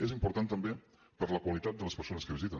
és important també per la qualitat de les persones que visiten